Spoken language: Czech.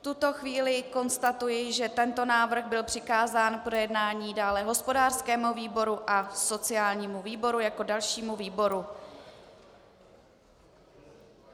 V tuto chvíli konstatuji, že tento návrh byl přikázán k projednání dále hospodářskému výboru a sociálnímu výboru jako dalšímu výboru.